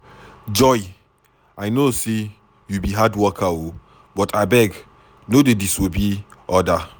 Joy I no say you be hard worker, but abeg no dey disobey orders.